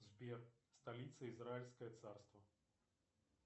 сбер столица израильское царство